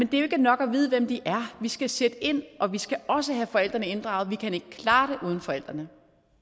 det jo ikke er nok at vide hvem de er vi skal sætte ind og vi skal også have forældrene inddraget vi kan ikke klare det uden forældrene